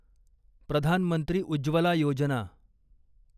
Pradhan Mantri Ujjwala Yojana